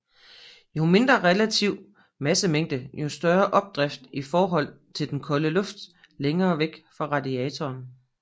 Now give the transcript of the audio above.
Jo mindre relativ massefylde jo større opdrift i forhold til den koldere luft længere væk fra radiatoren